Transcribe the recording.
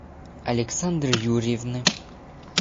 александры юрьевны